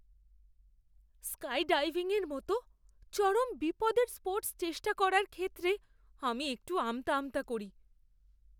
স্কাইডাইভিংয়ের মতো চরম বিপদের স্পোর্টস চেষ্টা করার ক্ষেত্রে আমি একটু আমতা আমতা করি।